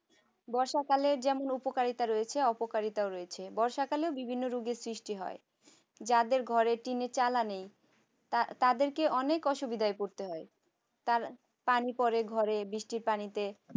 বর্ষাকালে যেমন উপকারিতা রয়েছে অপকারিতাও রয়েছে বর্ষাকালে বিভিন্ন রোগের সৃষ্টি হয়। যাদের ঘরেটিনের চালা নেই। তা তাদেরকে অনেক অসুবিধায় পড়তে হয়। তার পানি পড়ে ঘরে বৃষ্টির পানিতে